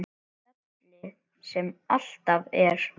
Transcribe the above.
Fjallið sem alltaf er.